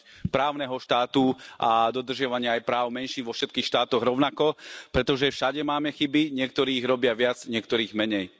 právneho štátu a dodržiavania aj práv menšín vo všetkých štátoch rovnako, pretože všade máme chyby, niektorí ich robia viac, niektorí menej.